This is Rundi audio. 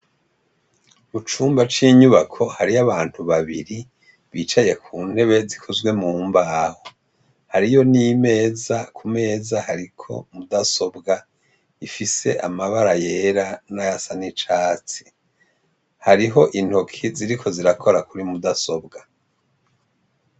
Mucumba cinyubako hariyo abantu babiri bicaye kuntebe zikozwe mumbaho hariyo n' imeza kumeza hariko budasobwa ifise amabara yera n' ayasa n' icatsi hariho intoke ziriko zirakora kuri mudasobwa.